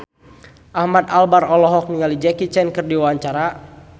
Ahmad Albar olohok ningali Jackie Chan keur diwawancara